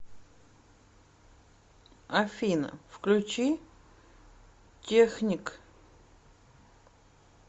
афина включи техник